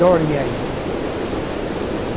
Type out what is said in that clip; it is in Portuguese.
Dorme aí.